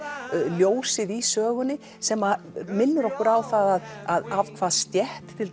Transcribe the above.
ljósið í sögunni sem minnir okkur á það af hvaða stétt